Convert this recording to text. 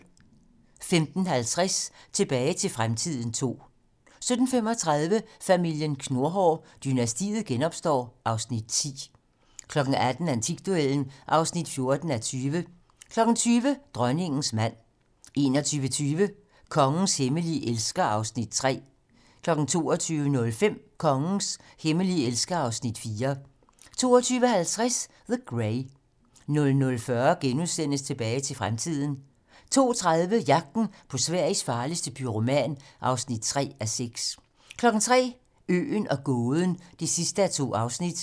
15:50: Tilbage til fremtiden II 17:35: Familien Knurhår: Dynastiet genopstår (Afs. 10) 18:00: Antikduellen (14:20) 20:00: Dronningens mand 21:20: Kongens hemmelige elsker (Afs. 3) 22:05: Kongens hemmelige elsker (Afs. 4) 22:50: The Grey 00:40: Tilbage til fremtiden * 02:30: Jagten på Sveriges farligste pyroman (3:6) 03:00: Øen og gåden (2:2)